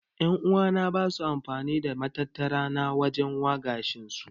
En'uwa na basu amfani da matattara na waje wa gashin su.